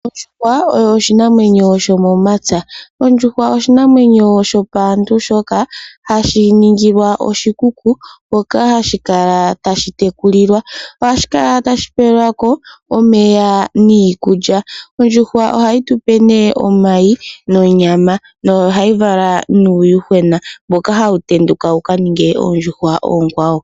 Ondjuhwa oyo oshinamwenyo sho momapya. ondjuhwa oshinamwenyo sho paantu shoka hashi ningilwa oshikuku, mpoka hashi kala tashi tekulilwa ohashi kala tashi pelwako omeya niikulya. Ondjuhwa ohayi tupe nee omayi nonyama nohayi vala nuuyuhwena mboka hawu tenduka wukaninge oondjuhwa oonkwawo.